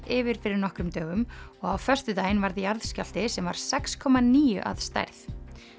yfir fyrir nokkrum dögum og á föstudaginn varð jarðskjálfti sem var sex komma níu að stærð